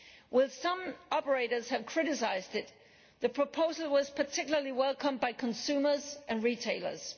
Whilst some operators have criticised it, the proposal was particularly welcomed by consumers and retailers.